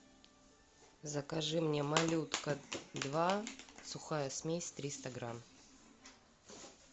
закажи мне малютка два сухая смесь триста грамм